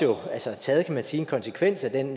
kan man sige taget en konsekvens af den